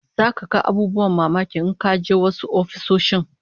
Zaka ga abubuwan mamaki in ka je wasu ofisoshin